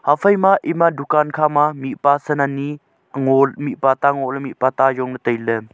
haphai ma ema dukan khama ma mipa san anyi ngo mipa ta ngo ley mipata jongley tailey.